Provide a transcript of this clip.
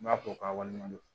N b'a fɔ k'a waleɲumandon